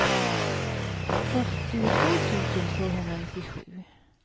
fyrtiotvå tusen tvåhundranittiosju